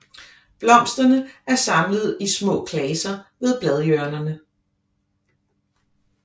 Blomsterne er samlet i små klaser ved bladhjørnerne